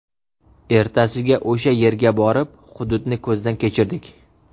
Ertasiga o‘sha yerga borib hududni ko‘zdan kechirdik.